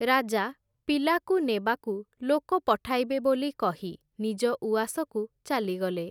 ରାଜା, ପିଲାକୁ ନେବାକୁ ଲୋକ ପଠାଇବେ ବୋଲି କହି, ନିଜ ଉଆସକୁ ଚାଲିଗଲେ ।